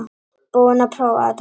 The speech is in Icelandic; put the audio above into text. Búinn að prófa þetta